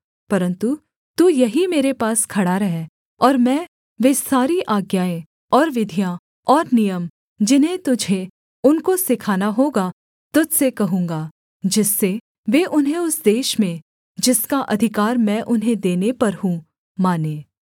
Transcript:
परन्तु तू यहीं मेरे पास खड़ा रह और मैं वे सारी आज्ञाएँ और विधियाँ और नियम जिन्हें तुझे उनको सिखाना होगा तुझ से कहूँगा जिससे वे उन्हें उस देश में जिसका अधिकार मैं उन्हें देने पर हूँ मानें